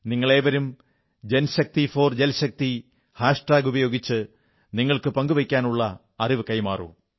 നിങ്ങളേവരും JanShakti4JalShakti hashtag ഉപയോഗിച്ച് നിങ്ങൾക്ക് പങ്കുവയ്ക്കാനുള്ള അറിവ് കൈമാറൂ